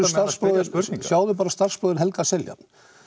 spyrja spurninga sjáðu bara starfsbúðir Helga Seljan